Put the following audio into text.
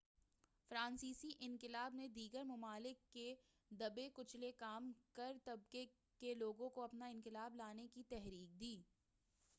فرانسیسی انقلاب نے دیگر ممالک کے دبے کچلے کام گار طبقے کے لوگوں کو اپنا انقلاب لانے کی تحریک دی